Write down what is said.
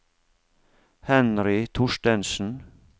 Henry Thorstensen